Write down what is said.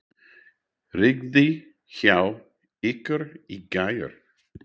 Rigndi hjá ykkur í gær?